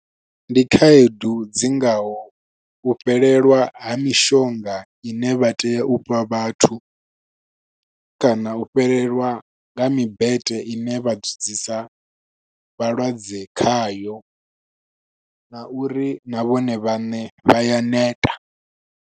Ndi khaedu dzi ngaho u fhelelwa ha mishonga ine vha tea u fha vhathu, kana u fhelelwa nga mibete ine vha dzudzisa vhalwadze khayo, na uri na vhone vhaṋe vha ya neta.